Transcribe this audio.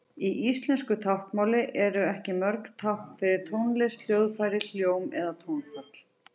Í íslensku táknmáli eru ekki mörg tákn fyrir tónlist, hljóðfæri, hljóm eða tónfall.